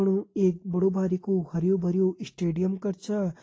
फणु एक बड़ु बारिकु हरयूं भर्युं स्टेडियम कर छा।